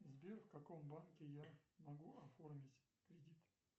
сбер в каком банке я могу оформить кредит